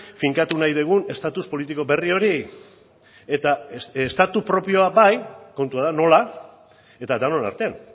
finkatu nahi dugun estatus politiko berri hori eta estatu propioa bai kontua da nola eta denon artean